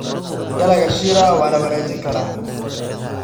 Dalagga shira waa la wanaajin karaa.